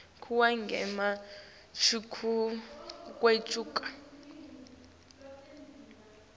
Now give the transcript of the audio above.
kuwo ngemuva kwekucala